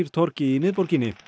torgi í miðborginni